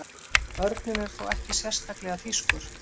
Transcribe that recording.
Örninn er þó ekki sérstaklega þýskur.